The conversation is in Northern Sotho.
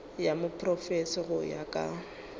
ya profense go ya ka